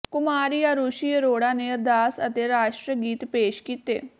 ਕੁਮਾਰੀ ਆਰੁਸ਼ੀ ਅਰੋੜਾ ਨੇ ਅਰਦਾਸ ਅਤੇ ਰਾਸ਼ਟਰੀ ਗੀਤ ਪੇਸ਼ ਕੀਤੇ